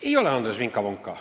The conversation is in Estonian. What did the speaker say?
Ei lonka, Andres, vinka-vonka.